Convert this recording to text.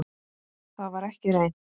Það var ekki reynt.